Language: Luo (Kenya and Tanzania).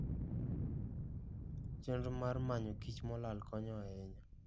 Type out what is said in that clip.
Chenro mar manyo kich molal konyo ahinya.